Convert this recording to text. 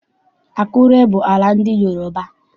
Akure bụ ala ndị Yoroba.